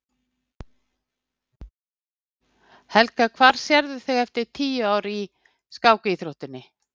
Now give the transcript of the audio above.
Helga: Hvar sérðu þig eftir tíu ár í, í skákíþróttinni?